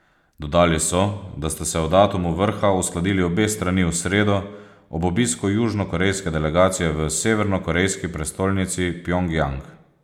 Dodali so, da sta se o datumu vrha uskladili obe strani v sredo ob obisku južnokorejske delegacije v severnokorejski prestolnici Pjongjang.